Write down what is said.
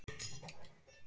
Hvert fer boltinn?